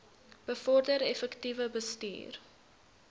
bevorder effektiewe bestuur